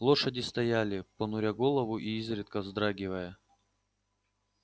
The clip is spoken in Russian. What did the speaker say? лошади стояли понуря голову и изредка вздрагивая